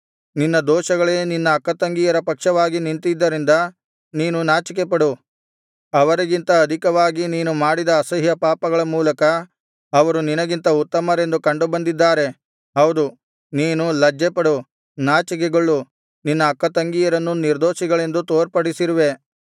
ನಿನ್ನ ದೋಷಗಳೇ ನಿನ್ನ ಅಕ್ಕತಂಗಿಯರ ಪಕ್ಷವಾಗಿ ನಿಂತಿದ್ದರಿಂದ ನೀನು ನಾಚಿಕೆಪಡು ಅವರಿಗಿಂತ ಅಧಿಕವಾಗಿ ನೀನು ಮಾಡಿದ ಅಸಹ್ಯ ಪಾಪಗಳ ಮೂಲಕ ಅವರು ನಿನಗಿಂತ ಉತ್ತಮರೆಂದು ಕಂಡುಬಂದಿದ್ದಾರೆ ಹೌದು ನೀನು ಲಜ್ಜೆಪಡು ನಾಚಿಕೆಗೊಳ್ಳು ನಿನ್ನ ಅಕ್ಕತಂಗಿಯರನ್ನು ನಿರ್ದೋಷಿಗಳೆಂದು ತೋರ್ಪಡಿಸಿರುವೆ